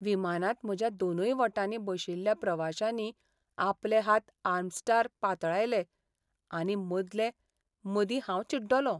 विमानांत म्हज्या दोनूय वटांनी बशिल्ल्या प्रवाशांनी आपले हात आर्मरॅस्टार पातळायले आनी मदले मदीं हांव चिड्डलों.